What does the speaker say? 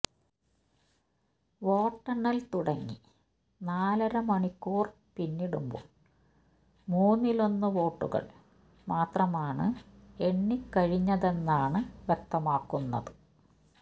വോട്ടെണ്ണൽ തുടങ്ങി നാലരമണിക്കൂർ പിന്നിടുമ്പോൾ മൂന്നിലൊന്ന് വോട്ടുകൾ മാത്രമാണ് എണ്ണിക്കഴിഞ്ഞതെന്നാണ് വ്യക്തമാകുന്നത്